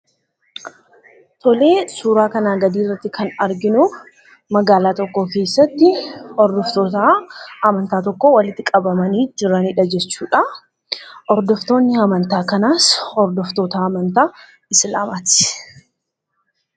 Suuraa kanaa gadii irratti kan arginu magaalaa tokko keessatti hordoftoota amantaa tokkoo bakka tokkotti walitti qabamanii jiranidha jechuudha. Hordoftoonni amantaa kanaas hordoftoota amantaa Islaamaati.